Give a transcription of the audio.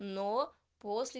но после